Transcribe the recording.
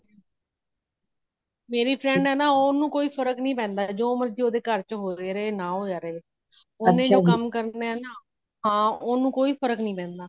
ਮੇਰੀ friend ਹੈ ਨਾ ਓਹਨੂੰ ਕੋਈ ਫ਼ਰਕ ਨਹੀਂ ਪੈਂਦਾ ਜੋ ਮਰਜੀ ਓਦੇ ਘਰ ਵਿਚ ਹੋ ਰਿਹਾ ਹੋਵੇ ਨਾ ਹੋ ਰਿਹਾ ਹੋਵੇ ਓਹਨੇ ਜੋ ਕੰਮ ਕਰਨਾ ਹੈ ਨਾ ਓਨੁ ਕੋਈ ਫਰਕ ਨਹੀਂ ਪੈਂਦਾ